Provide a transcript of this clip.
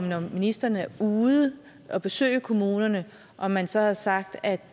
når ministeren er ude at besøge kommunerne har man så sagt at